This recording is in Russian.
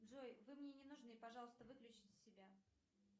джой вы мне не нужны пожалуйста выключите себя